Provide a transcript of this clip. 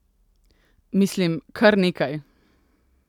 Mislim, kar nekaj!